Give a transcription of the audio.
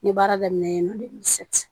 N ye baara daminɛ yen n'o